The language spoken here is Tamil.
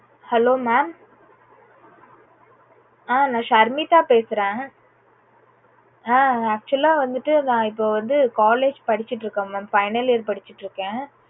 hello mam ஆஹ் நா ஷர்மிதா பேசறேன். ஆஹ் actual லா வந்துட்டு நா இப்போ வந்து college படிச்சிட்டு இருக்கேன் mam final year படிச்சிட்டு இருக்கேன்